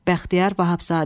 Bəxtiyar Vahabzadə.